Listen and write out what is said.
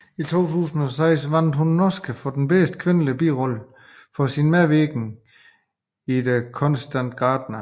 I 2006 vandt hun en Oscar for bedste kvindelige birolle for sin medvirken i The Constant Gardener